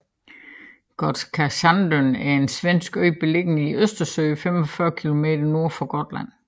Gotska Sandön er en svensk ø beliggende i Østersøen 45 km nord for Gotland